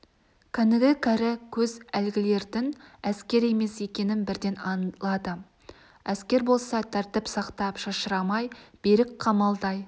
кәнігі кәрі көз әлгілердің әскер емес екенін бірден аңлады әскер болса тәртіп сақтап шашырамай берік қамалдай